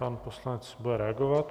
Pan poslanec bude reagovat.